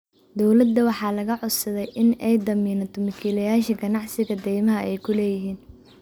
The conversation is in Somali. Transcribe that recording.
Dowladda waxaa laga codsaday in ay damiinto milkiilayaasha ganacsiga deymaha ay ku leeyihiin.